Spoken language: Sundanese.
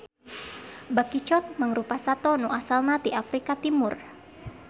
Bakicot mangrupa sato nu asalna ti Afrika Timur.